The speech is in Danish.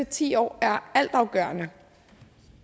ti år er altafgørende